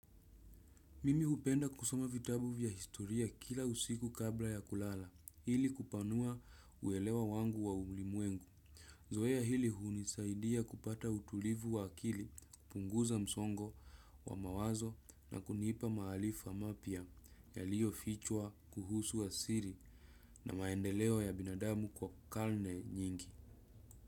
Mimi hupenda kusoma vitabu vya historia kila usiku kabla ya kulala ili kupanua uelewa wangu wa ulimwengu. Zoea hili hunisaidia kupata utulivu wa akili kupunguza msongo wa mawazo na kunipa maarifa mapya yaliyo fichwa kuhusu asili na maendeleo ya binadamu kwa karne nyingi.